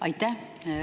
Aitäh!